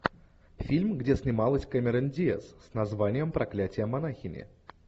фильм где снималась кэмерон диаз с названием проклятие монахини